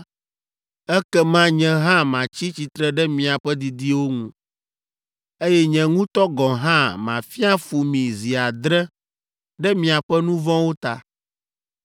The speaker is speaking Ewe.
ekema nye hã matsi tsitre ɖe miaƒe didiwo ŋu, eye nye ŋutɔ gɔ̃ hã mafia fu mi zi adre ɖe miaƒe nu vɔ̃wo ta.